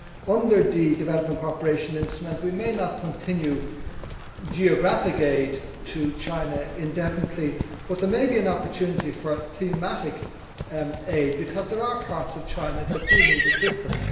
Under the Development Cooperation Instrument we may not continue geographic aid to China indefinitely, but there may be an opportunity for thematic aid, because there are parts of China that do need assistance.